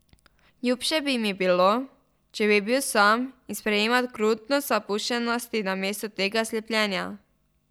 Ljubše bi mi bilo, če bi bil sam in sprejemal krutost zapuščenosti namesto tega slepljenja.